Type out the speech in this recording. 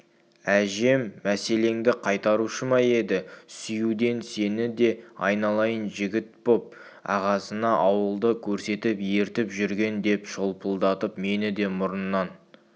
әжем меселіңді қайтарушы ма еді сүюден сені де айналайын жігіт боп ағасына ауылды көрсетіп ертіп жүрген деп шолпылдатып мені де мұрыннан